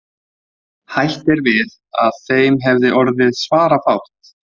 Hætt er við að þeim hefði orðið svarafátt.